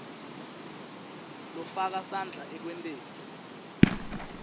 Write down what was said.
lofaka sandla ekwenteni